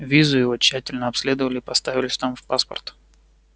визу его тщательно обследовали и поставили штамп в паспорт